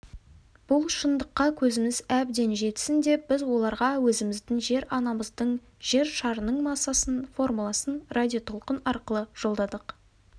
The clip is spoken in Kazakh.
бұл шындыққа көзіміз әбден жетсін деп біз оларға өзіміздің жер-анамыздың жер шарының массасының формуласын радиотолқын арқылы жолдадық